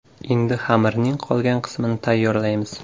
Endi xamirning qolgan qismini tayyorlaymiz.